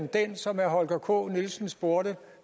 den som herre holger k nielsen spurgte